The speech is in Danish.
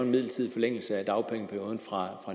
en midlertidig forlængelse af dagpengeperioden fra